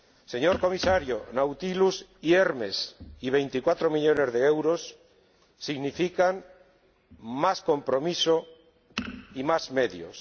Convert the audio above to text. Señor Comisario, Nautilus y Hermes y 24 millones de euros significan más compromiso y más medios.